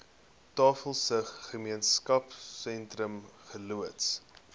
tafelsig gemeenskapsentrum geloods